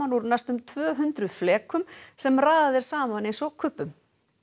úr næstum tvö hundruð sem raðað er saman eins og kubbum